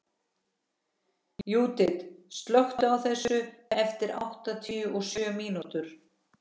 Júdit, slökktu á þessu eftir áttatíu og sjö mínútur.